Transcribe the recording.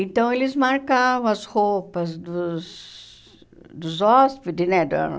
Então, eles marcavam as roupas dos dos hóspedes, né? Da